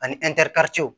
Ani